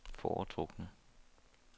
foretrukne